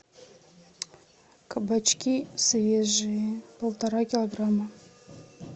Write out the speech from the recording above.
кабачки свежие полтора килограмма